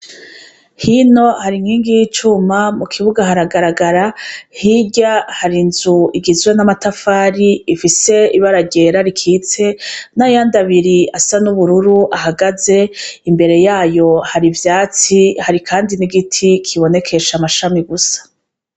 Hino hari inkingi y'icuma, mu kibuga haragaragara; hirya hari inzu igizwe n'amatafari, ifise ibara ryera rikitse, n'ayandi abiri asa n'ubururu ahagaze, imbere yayo hari ivyatsi, hari kandi n'igiti kibonekesha amashami gusa.